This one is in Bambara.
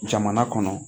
Jamana kɔnɔ